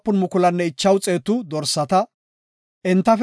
Maccasati 16,000; entafe Godaas imetiday 32.